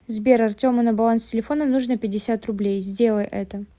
сбер артему на баланс телефона нужно пятьдесят рублей сделай это